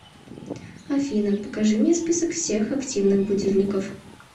афина покажи мне список всех активных будильников